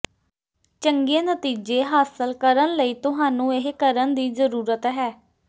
ਚੰਗੇ ਨਤੀਜੇ ਹਾਸਲ ਕਰਨ ਲਈ ਤੁਹਾਨੂੰ ਇਹ ਕਰਨ ਦੀ ਜ਼ਰੂਰਤ ਹੈ